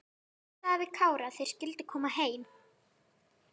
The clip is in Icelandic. Óskar sagði við Kára að þeir skyldu koma heim.